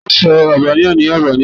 Tani yoo sọ Albania ni Albania?